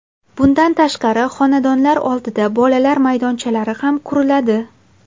Bundan tashqari, xonadonlar oldida bolalar maydonchalari ham quriladi.